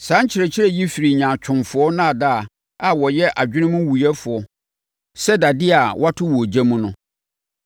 Saa nkyerɛkyerɛ yi firi nyaatwomfoɔ nnaadaa a wɔyɛ adwenewuiɛfoɔ sɛ dadeɛ a wɔato wɔ ogya mu no.